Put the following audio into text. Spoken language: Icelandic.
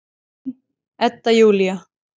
Þín, Edda Júlía.